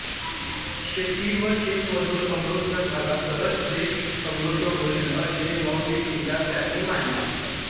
शेती व शेतमजूर समृद्ध झाला तरच देश समृद्ध होईल असे मौलिक विचार त्यांनी मांडले